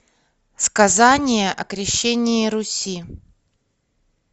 сказание о крещении руси